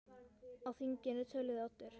Á þinginu töluðu Oddur